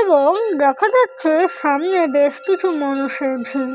এবং দেখা যাচ্ছে সামনে বেশ কিছু মানুষের ভিড়।